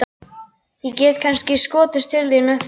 Ég get kannski skotist til þín á eftir.